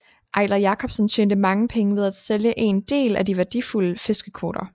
Eiler Jacobsen tjente mange penge ved at sælge en del af de værdifulde fiskekvoter